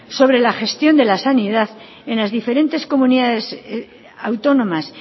sobre la gestión de la sanidad en las diferentes comunidades autónomas